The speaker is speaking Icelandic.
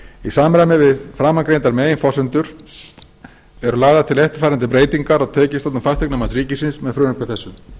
í samræmi við framangreindar meginforsendur eru lagðar til eftirfarandi breytingar á tekjustofnum fasteignamats ríkisins með frumvarpi þessu